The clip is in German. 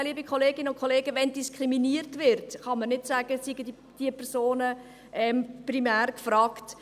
Ja, liebe Kolleginnen und Kollegen, wenn diskriminiert wird, kann man nicht sagen, es seien primär diese Personen gefragt.